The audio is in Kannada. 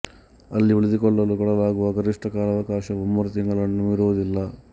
ಅಲ್ಲಿ ಉಳಿದುಕೊಳ್ಳಲು ಕೊಡಲಾಗುವ ಗರಿಷ್ಠ ಕಾಲಾವಕಾಶವು ಮೂರು ತಿಂಗಳನ್ನು ಮೀರುವುದಿಲ್ಲ